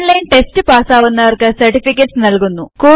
online test പാസാകുന്നവർക്ക് certificates നല്കുന്നു